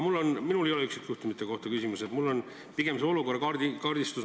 Minul ei ole küsimus üksikjuhtumite kohta, ma küsin pigem olukorra kaardistuse kohta.